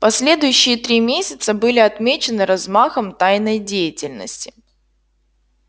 последующие три месяца были отмечены размахом тайной деятельности